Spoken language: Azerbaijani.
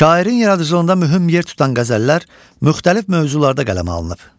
Şairin yaradıcılığında mühüm yer tutan qəzəllər müxtəlif mövzularda qələmə alınıb.